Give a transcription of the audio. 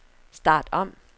start om